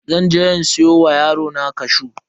Zan je in siyo wa yarona cashew.